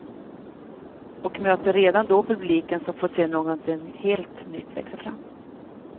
Och möter redan då publiken som får se någonting helt nytt växa fram.